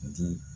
Di